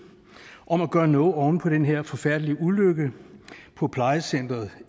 om at gøre noget oven på den her forfærdelige ulykke på plejecenteret